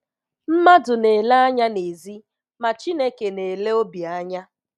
Mmadụ na-ele anya nèzí ma Chineke na-ele obi anya.